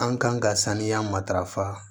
An kan ka saniya matarafa